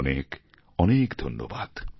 অনেক অনেক ধন্যবাদ